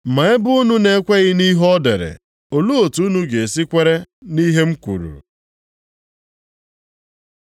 Ma ebe unu na-ekweghị nʼihe o dere, olee otu unu ga-esi kwere nʼihe m kwuru?”